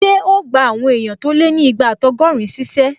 Ṣé o gbà àwọn èèyàn tó lé ní igba ati ọgọ́rin ṣíṣẹ́?